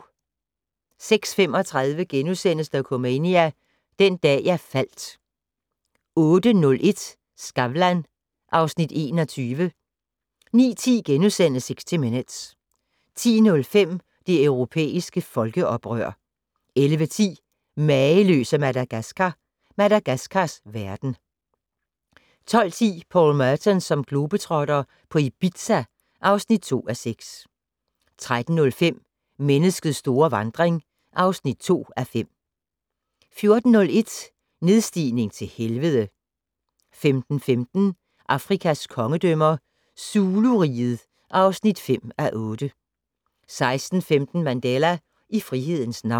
06:35: Dokumania: Den dag jeg faldt * 08:01: Skavlan (Afs. 21) 09:10: 60 Minutes * 10:05: Det europæiske folkeoprør 11:10: Mageløse Madagaskar - Madagaskars verden 12:10: Paul Merton som globetrotter - på Ibiza (2:6) 13:05: Menneskets store vandring (2:5) 14:01: Nedstigning til helvede 15:15: Afrikas kongedømmer - Zulu-riget (5:8) 16:15: Mandela - i frihedens navn